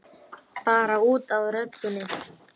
Bara út af röddinni.